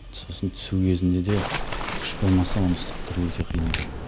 сосын түсу кезінде де күш болмаса оны ұстап тұру өте қиын екен